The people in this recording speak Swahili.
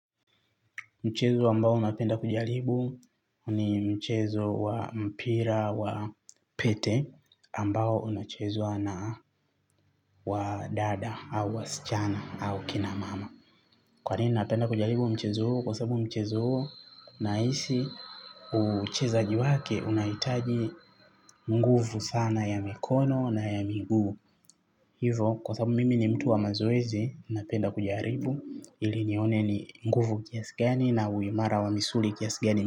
Mchezo ambao napenda kujaribu ni mchezo wa mpira wa pete ambao unachezwa na wadada au wasichana au kina mama kwanini napenda kujaribu mchezo huu kwa sababu mchezo huu nahisi uchezaji wake unahitaji nguvu sana ya mikono na ya miguu hivyo kwa sababu mimi ni mtu wa mazoezi kujaribu ili nione ni nguvu kiasi gani na uimara wa misuli kiasi gani.